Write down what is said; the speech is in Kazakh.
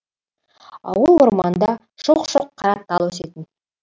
ауыл орманында шоқ шоқ қара тал өсетін